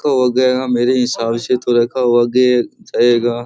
तो गया मेरे हिसाब से तो रखा हुआ आगे जायेगा।